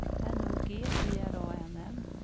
N O G G R A N N